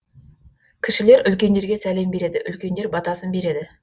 кішілер үлкендерге сәлем береді үлкендер батасын береді